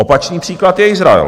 Opačný příklad je Izrael.